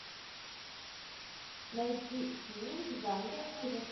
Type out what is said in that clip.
найти фильм в жанре ужас